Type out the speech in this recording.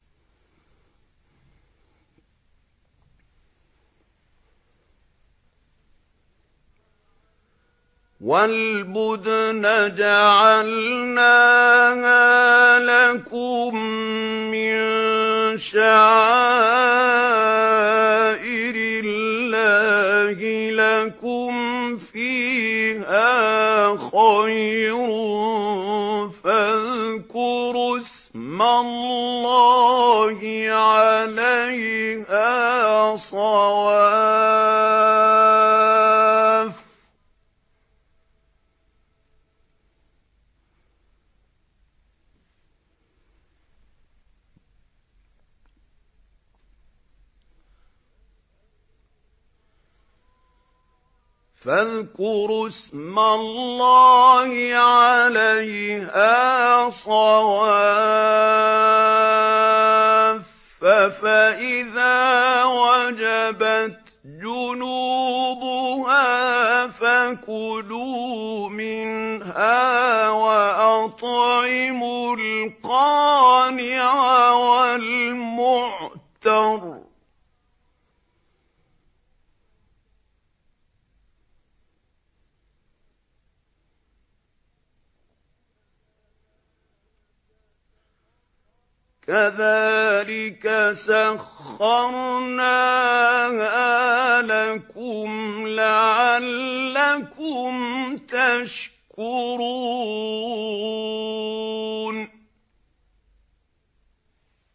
وَالْبُدْنَ جَعَلْنَاهَا لَكُم مِّن شَعَائِرِ اللَّهِ لَكُمْ فِيهَا خَيْرٌ ۖ فَاذْكُرُوا اسْمَ اللَّهِ عَلَيْهَا صَوَافَّ ۖ فَإِذَا وَجَبَتْ جُنُوبُهَا فَكُلُوا مِنْهَا وَأَطْعِمُوا الْقَانِعَ وَالْمُعْتَرَّ ۚ كَذَٰلِكَ سَخَّرْنَاهَا لَكُمْ لَعَلَّكُمْ تَشْكُرُونَ